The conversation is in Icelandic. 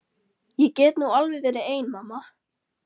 Ég get nú alveg verið ein mamma.